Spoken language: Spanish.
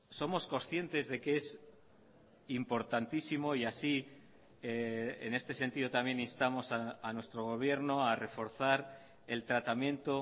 somos conscientes de que es importantísimo y así en este sentido también instamos a nuestro gobierno a reforzar el tratamiento